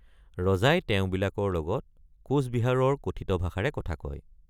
ৰজাই তেওঁবিলাকৰ লগত কোচবিহাৰৰ কথিত ভাষাৰে কথা কয়।